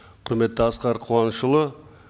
құрметті асқар қуанышұлы